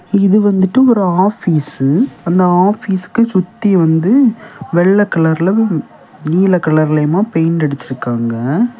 இது வந்துட்டு ஒரு ஆபீசு அந்த ஆபீஸ்க்கு சுத்தி வந்து வெள்ளை கலர்ல நீல கலர்லியுமா பெயிண்ட் அடிச்சு இருக்காங்க.